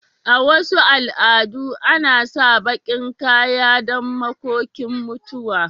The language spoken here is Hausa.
A Wasu al'adu ana sa bakin kaya don makokin mutuwa.